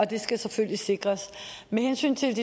det skal selvfølgelig sikres med hensyn til